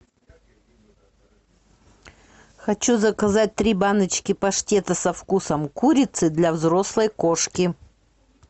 хочу заказать три баночки паштета со вкусом курицы для взрослой кошки